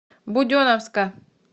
буденновска